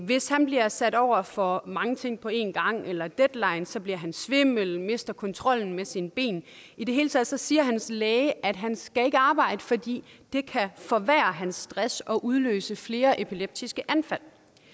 hvis han bliver sat over for mange ting på én gang eller deadlines bliver han svimmel mister kontrollen med sine ben i det hele taget siger hans læge at han ikke skal arbejde fordi det kan forværre hans stress og udløse flere epileptiske anfald